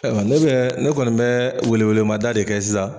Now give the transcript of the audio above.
Ayiwa ne bɛ ne kɔni bɛ welewelemada de kɛ sisan